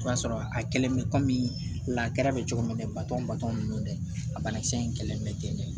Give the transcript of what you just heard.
O y'a sɔrɔ a kɛlen bɛ la bɛ cogo min na baton ba ninnu dɛ a banakisɛ in kɛlen bɛ ten de